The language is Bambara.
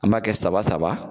An ba kɛ saba saba